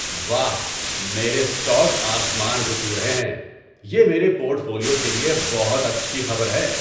واہ، میرے اسٹاک آسمان کو چھو رہے ہیں! یہ میرے پورٹ فولیو کے لیے بہت اچھی خبر ہے۔